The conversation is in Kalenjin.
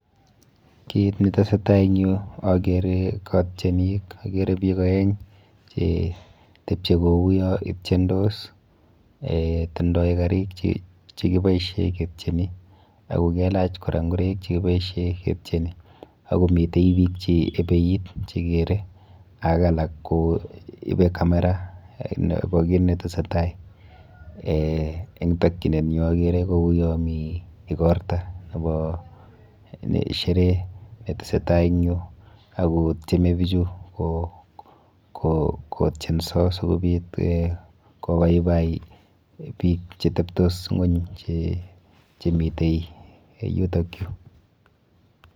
Kit netesetai eng yu akere katienik, akere biik aeng chetepche kou yo itiendos eh tindoi karik chekiboishe ketieni ako kelach kora nkoreik chekiboishe ketieni ako mitei biik cheepeit chekere ak alak koipe camera nepo kit netesetai eh eng tokchinenyu akere kou yo mi ikorta nepo sherehe netesetai eng yu akotieme bichu kotienso sikobit eh kobaibai biik cheteptos ng'ony chemitei yutakyu.